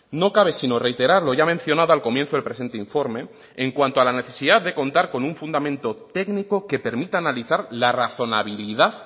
no cabe sino reiterar lo ya mencionado al comienzo del presente informe en cuanto a la necesidad de contar con un fundamento técnico que permita analizar la razonabilidad